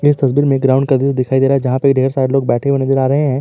इस तस्वीर में ग्राउंड का दृश्य दिखाई दे था है जहां पे ढेर सारे लोग बैठे हुए नज़र आ रहे हैं।